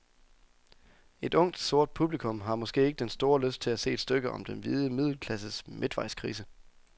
Et ungt, sort publikum har måske ikke den store lyst til at se et stykke om den hvide middelklasses midtvejskrise.